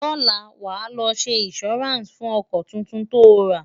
lọla, wà ló ṣé insuranci fún ọkọ túntùn tó rà